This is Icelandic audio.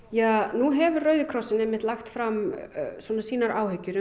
nú hefur Rauði krossinn lagt fram sínar áhyggjur